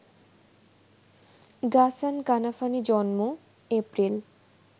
Ghassan Kanafani জন্ম: April